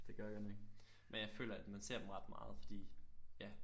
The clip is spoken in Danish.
Det gør jeg godt nok men jeg føler at man ser dem ret meget fordi ja